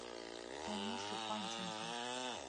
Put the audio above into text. танюши панченко